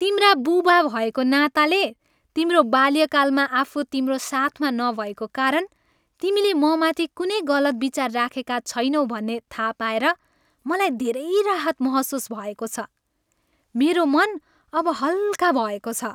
तिम्रा बुबा भएको नाताले, तिम्रो बाल्यकालमा आफू तिम्रो साथमा नभएको कारण तिमीले ममाथि कुनै गलत विचार राखेका छैनौ भन्ने थाहा पाएर मलाई धेरै राहत महसुस भएको छ। मेरो मन अब हल्का भएको छ।